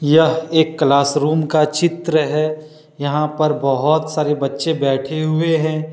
यह एक classroom का चित्र है। यहां पर बहोत सारे बच्चे बैठे हुए हैं।